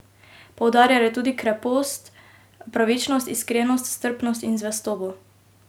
Poudarjal je tudi krepost, pravičnost, iskrenost, strpnost in zvestobo.